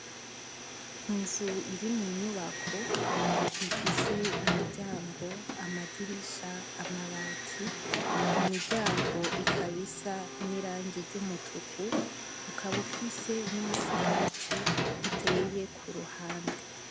Inzu iri munyubako ifise imiryango, amadirisha, amabati. Imiryango ikaba isa n'irangi ry'Umutuku, ikaba ifise n'umusigati uteye Kuruhande.